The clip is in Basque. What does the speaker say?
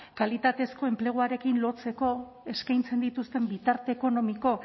kalitatezko enpleguarekin lotzeko eskaintzen dituzten bitarte ekonomiko